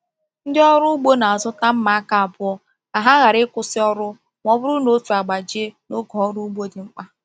Ndị ọrụ ugbo na-azụta mma aka abụọ ka ha ghara ịkwụsị ọrụ ma ọ bụrụ na otu agbajie n’oge ọrụ ugbo dị mkpa.